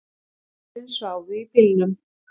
Börnin sváfu í bílnum